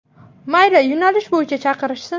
Mayli, yo‘nalish bo‘yicha chaqirishsin.